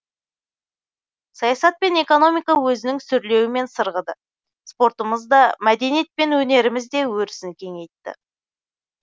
саясат пен экономика өзінің сүрлеуімен сырғыды спортымыз да мәдениет пен өнеріміз де өрісін кеңейтті